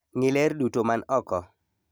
Ng'i ler duto man oko.